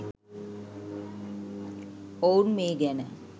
ඔවුන් මේ ගැන